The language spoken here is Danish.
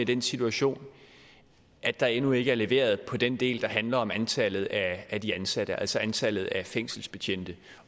den situation at der endnu ikke er leveret på den del der handler om antallet af de ansatte altså antallet af fængselsbetjente